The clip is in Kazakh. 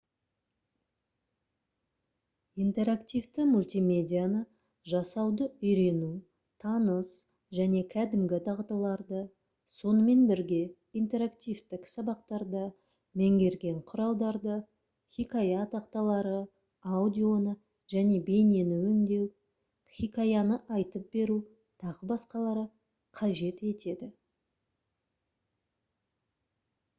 интерактивті мультимедианы жасауды үйрену таныс және кәдімгі дағдыларды сонымен бірге интерактивтік сабақтарда меңгерген құралдарды хикая тақталары аудионы және бейнені өңдеу хикаяны айтып беру т.б. қажет етеді